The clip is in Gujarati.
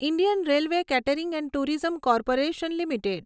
Indian railway catering and tourism corporation limited